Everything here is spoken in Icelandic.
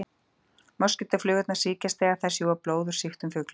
Moskítóflugurnar sýkjast þegar þær sjúga blóð úr sýktum fuglum.